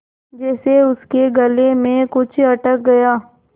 जैसे उसके गले में कुछ अटक गया